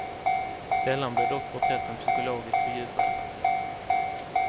Sällan blir dock porträtten psykologiskt fördjupade.